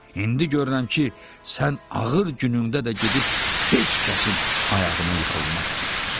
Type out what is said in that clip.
İndi görürəm ki, sən ağır günündə də gedib heç kəsin ayağına yıxılmazsan.